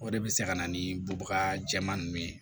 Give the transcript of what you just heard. O de bɛ se ka na ni bubaga jɛmani ye